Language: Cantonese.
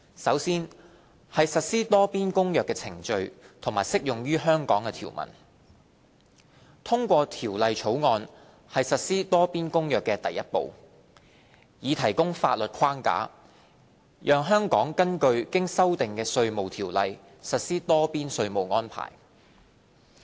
首先是實施《多邊公約》的程序及將適用於香港的條文。通過《條例草案》是實施《多邊公約》的第一步，以提供法律框架，讓香港根據經修訂的《稅務條例》實施多邊稅務安排。